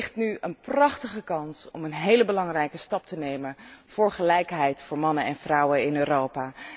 Er ligt nu een prachtige kans om een heel belangrijke stap te nemen voor gelijkheid voor mannen en vrouwen in Europa.